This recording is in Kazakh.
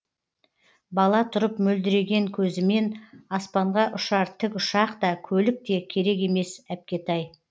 бала тұрып мөлдіреген көзімен аспанға ұшар тік ұшақ та көлік те керек емес әпкетай